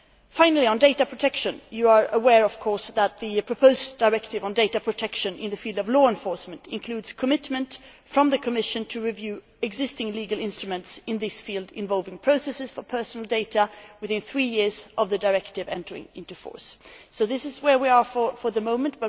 Finally, on data protection, you are of course aware that the proposed directive on data protection in the field of law enforcement includes a commitment from the Commission to review existing legal instruments in this field, involving processing of personal data within three years of the directive entering into force. That is where we are at the moment.